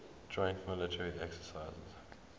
joint military exercises